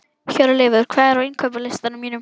Hjörleifur, hvað er á innkaupalistanum mínum?